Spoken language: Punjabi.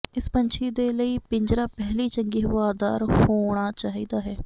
ਇਸ ਪੰਛੀ ਦੇ ਲਈ ਪਿੰਜਰਾ ਪਹਿਲੀ ਚੰਗੀ ਹਵਾਦਾਰ ਹੋਣਾ ਚਾਹੀਦਾ ਹੈ